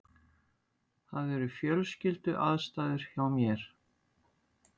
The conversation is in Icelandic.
Það eru fjölskylduaðstæður hjá mér.